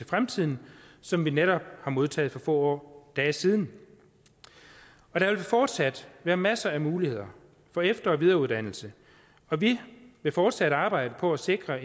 fremtiden som vi netop har modtaget for få dage siden der vil fortsat være masser af muligheder for efter og videreuddannelse og vi vil fortsat arbejde på at sikre